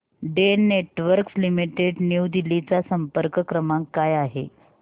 Den networks limited New Delhi चा संपर्क क्रमांक काय आहे